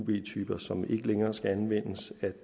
typer som ikke længere skal anvendes at